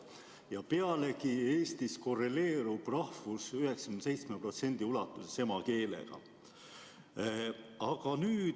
Ja Eestis korreleerub rahvus 97% ulatuses emakeelega.